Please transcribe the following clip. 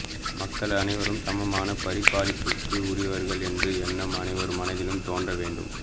மக்கள் அனைவரும் சமமான பரிபாலிப்புக்கு உரியவர்கள் என்ற எண்ணம் அனைவர் மனதிலும் தோன்ற வேண்டும்